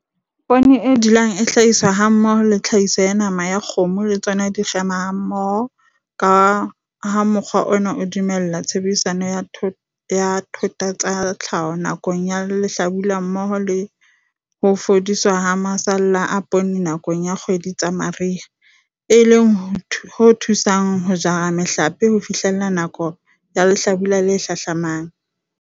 Poone e dulang e hlahiswa hammoho le tlhahiso ya nama ya kgomo le tsona di kgema mmoho ka ha mokgwa ona o dumella tshebediso ya thota tsa tlhaho nakong ya lehlabula mmoho le ho fudiswa ha masalla a poone nakong ya dikgwedi tsa mariha, e leng ho thusang ho jara mehlape ho fihlela nakong ya lehlabula le hlahlamang.